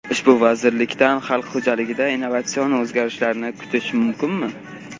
Ushbu vazirlikdan xalq xo‘jaligida innovatsion o‘zgarishlarni kutish mumkinmi?